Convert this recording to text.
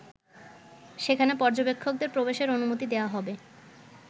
সেখানে পর্যবেক্ষকদের প্রবেশের অনুমতি দেয়া হবে।